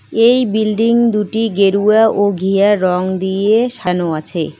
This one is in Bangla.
এই বিল্ডিং দুটি গেরুয়া ও ঘিয়ারঙ দিয়ে সানো আছে।